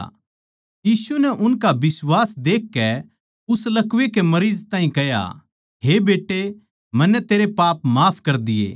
यीशु नै उनका बिश्वास देखकै उस लकवै के मरीज ताहीं कह्या हे बेट्टे मन्नै तेरे पाप माफ कर दिये